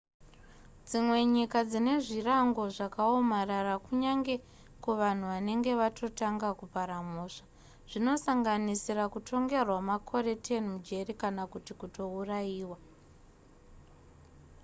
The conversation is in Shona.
dzimwe nyika dzine zvirango zvakaomarara kunyange kuvanhu vanenge vatotanga kupara mhosva zvinosanganisira kutongerwa makore 10 mujeri kana kuti kutourayiwa